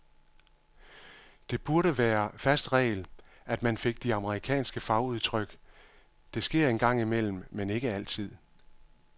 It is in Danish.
Det burde være fast regel, at man fik de amerikanske fagudtryk, det sker en gang imellem, men ikke altid.